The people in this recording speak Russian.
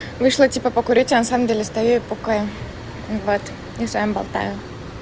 вышла типа покурить а на самом деле стою и пукаю вот и с вами болтаю